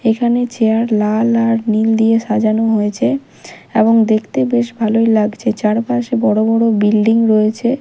এখানে চেয়ার লাল আর নীল দিয়ে সাজানো হয়েছে এবং দেখতে বেশ ভালো লাগছে চারপাশে বড় বড় বিল্ডিং রয়েছে।